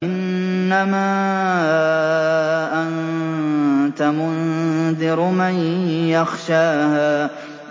إِنَّمَا أَنتَ مُنذِرُ مَن يَخْشَاهَا